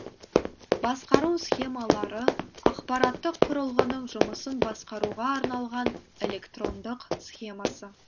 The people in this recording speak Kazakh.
басқару схемалары аппараттық құрылғының жұмысын басқаруға арналған электрондық схемасы